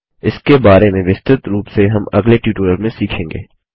इसके बारे में विस्तृत रूप से हम अगले ट्यूटोरियल में सीखेंगे